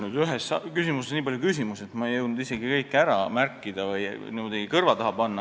Nüüd oli ühes küsimuses nii palju küsimusi, et ma ei jõudnud isegi kõiki üles märkida või kõrva taha panna.